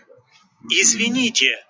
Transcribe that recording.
извини